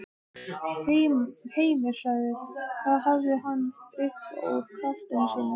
Heimir: Hvað hafði hann upp úr krafsinu?